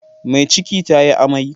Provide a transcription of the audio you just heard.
Mai ciki tayi amai.